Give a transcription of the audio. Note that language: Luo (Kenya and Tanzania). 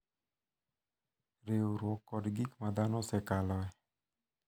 Riwruok, kod gik ma dhano osekaloe.